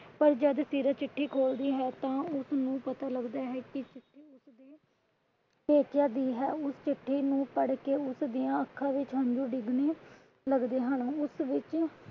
ਪਰ ਜੱਦ ਸੀਰਤ ਚਿੱਠੀ ਖੋਲਦੀ ਹੈ ਤਾਂ ਉਸਨੂੰ ਪਤਾ ਲੱਗਦਾ ਹੈ ਕਿ ਪੇਕਿਆਂ ਦੀ ਹੈ ਉਸ ਚਿੱਠੀ ਨੂੰ ਪੜ ਕੇ ਉਸਦੀਆਂ ਅੱਖਾਂ ਵਿੱਚ ਹੰਜੂ ਡਿਗਣੇ ਲੱਗਦੇ ਹਨ। ਉਸ ਵਿੱਚ